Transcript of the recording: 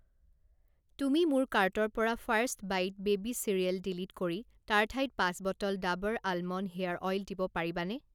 তুমি মোৰ কাৰ্টৰ পৰা First Bite baby cereal delete কৰি তাৰ ঠাইত পাঁচ bottle Dabur almond hair oil দিব পাৰিবানে?